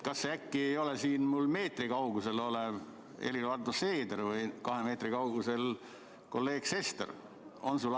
Kas see äkki ei ole siin minust meetri kaugusel olev Helir-Valdor Seeder või kahe meetri kaugusel istuv kolleeg Sester?